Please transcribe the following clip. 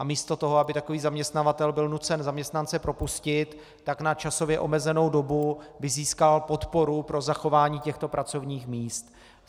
A místo toho, aby takový zaměstnavatel byl nucen zaměstnance propustit, tak na časově omezenou dobu by získal podporu pro zachování těchto pracovních míst.